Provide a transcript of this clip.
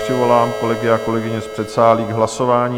Přivolám kolegy a kolegyně z předsálí k hlasování.